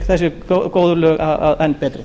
þessi góðu lög enn betri